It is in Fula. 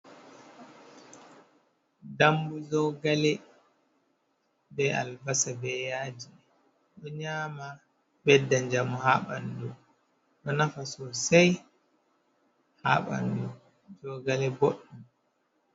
Dambu jogale ,be albasa ,be yaaji ɗo nyaama ɓedda njamu haa ɓanndu ,ɗo nafa sosay haa ɓanndu, jogale booɗɗum.